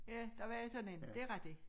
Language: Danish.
Ja der var sådan en det rigtig